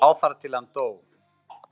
lá þar til hann dó.